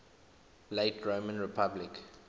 late roman republic